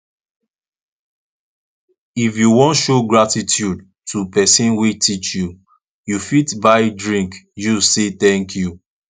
if you won show gratitude to persin wey teach you you fit buy drink use say thank you